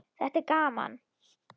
Þetta er gaman.